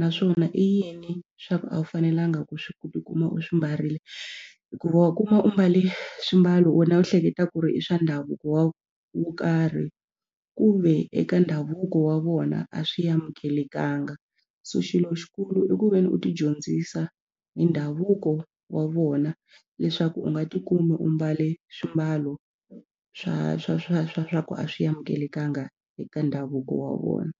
naswona i yini swa ku a wu fanelanga ku swi ku tikuma u swi mbarile hikuva wa kuma u mbale swimbalo wena u hleketa ku ri i swa ndhavuko wa wo karhi ku ve eka ndhavuko wa vona a swi amukelekanga so xilo xikulu i ku ve ni u tidyondzisa hi ndhavuko wa vona leswaku u nga tikumi u mbale swimbalo swa swa swa swa swa ku a swi amukelekanga eka ndhavuko wa vona.